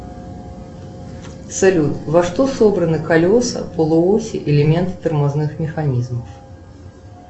салют во что собраны колеса полуоси элементы тормозных механизмов